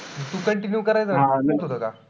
तू continue करायचं का?